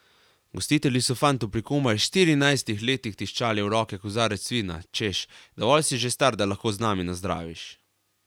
Gostitelji so fantu pri komaj štirinajstih letih tiščali v roke kozarec vina, češ dovolj si že star, da lahko z nami nazdraviš.